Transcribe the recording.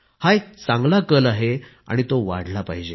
हा एक चांगला कल आहे आणि तो वाढला पाहिजे